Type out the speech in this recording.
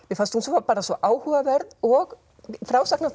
mér fannst hún bara svo áhugaverð og